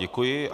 Děkuji.